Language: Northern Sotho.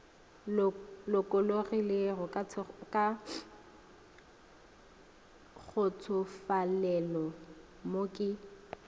lokologilego ka kgotsofalelo mo ke